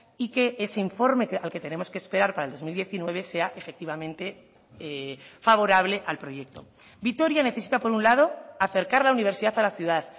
y que ese informe al que tenemos que esperar para el dos mil diecinueve sea efectivamente favorable al proyecto vitoria necesita por un lado acercar la universidad a la ciudad